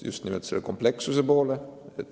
– just nimelt komplekssuse poole.